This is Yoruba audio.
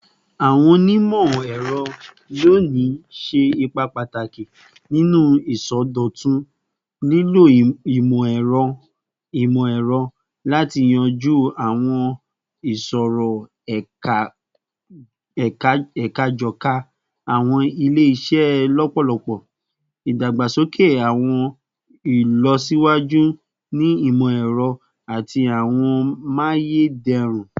Awọn onimọ-ẹrọ loni ṣe ipa pataki ninu isọdọtun, lilo imọ-ẹrọ imọ-ẹrọ lati yanju awọn iṣoro eka kọja awọn ile-iṣẹ lọpọlọpọ, idagbasoke awọn ilọsiwaju ni imọ-ẹrọ ati awọn amayederun